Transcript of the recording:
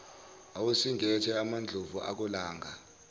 awusingethe amandlovu akolanga